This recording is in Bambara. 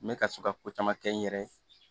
N bɛ ka to ka ko caman kɛ n yɛrɛ ye